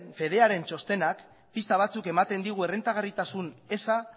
fedearen txostenak pista batzuk ematen digu errentagarritasun eza